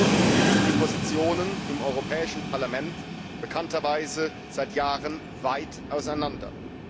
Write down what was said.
Doch in diesem Punkt liegen die Positionen im Europäischen Parlament bekannterweise seit Jahren weit auseinander.